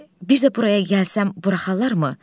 Bir də buraya gəlsəm buraxarlarmı?